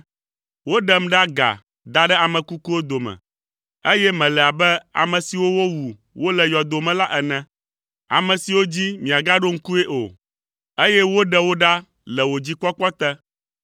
Woɖem ɖe aga da ɖe ame kukuwo dome, eye mele abe ame siwo wowu wole yɔdo me la ene, ame siwo dzi miagaɖo ŋkui o, eye woɖe wo ɖa le wò dzikpɔkpɔ te.